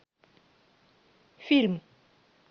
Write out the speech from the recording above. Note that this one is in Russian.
фильм